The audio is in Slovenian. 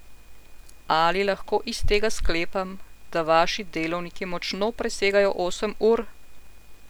Ali lahko iz tega sklepam, da vaši delovniki močno presegajo osem ur?